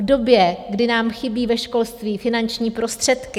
V době, kdy nám chybí ve školství finanční prostředky?